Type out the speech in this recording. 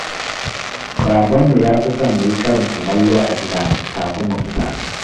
Babanmu ya fi son mu yi karin kumallo a gida kafin mu fita.